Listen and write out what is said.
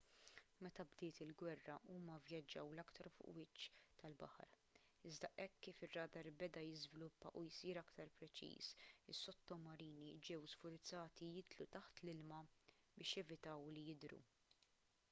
meta bdiet il-gwerra huma vvjaġġaw l-aktar fuq il-wiċċ tal-baħar iżda hekk kif ir-radar beda jiżviluppa u jsir aktar preċiż is-sottomarini ġew sfurzati jidħlu taħt l-ilma biex jevitaw li jidhru